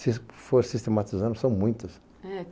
Se for sistematizando, são muitos.